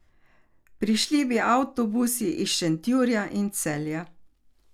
Prišli bi avtobusi iz Šentjurja in Celja.